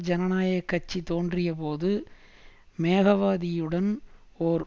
ஜனநாயக கட்சி தோன்றியபோது மேகாவதியுடன் ஓர்